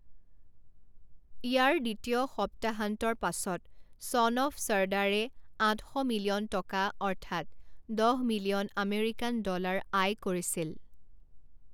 ইয়াৰ দ্বিতীয় সপ্তাহান্তৰ পাছত ছন অফ চৰ্দাৰে আঠ শ মিলিয়ন টকা অৰ্থাৎ দহ মিলিয়ন আমেৰিকান ডলাৰ আয় কৰিছিল।